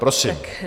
Prosím.